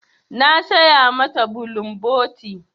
Na saya ma ta bulumboti.